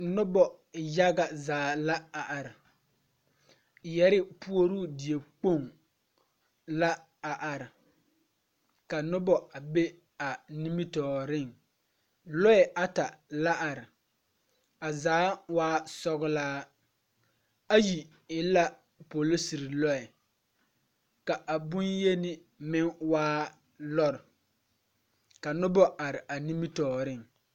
Noba yaga zaa la a are, yԑrre puoruu diekpoŋ la a are, ka noba a be a nimitͻͻreŋ. Lͻԑ ata la are, a zaa waa sͻgelaa, ayi polisiri lͻԑ, ka a boŋyeni meŋ waa lͻre ka noba are a nimitͻͻreŋ.